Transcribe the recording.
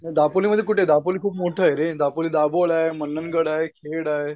दापोलीमध्ये कुठें दापोली खूप मोठं आहे रे दापोली दाबोळ आहे. मनंन गड आहे. खेड आहे.